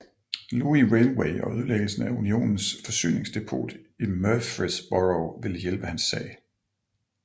Louis Railway og ødelæggelsen af Unionens forsyningsdepot i Murfreesboro ville hjælpe hans sag